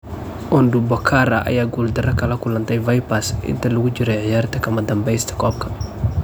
Ondupakara ayaa guuldaro kala kulantay Vipers intii lagu jiray ciyaarta kamadanbesta koobka.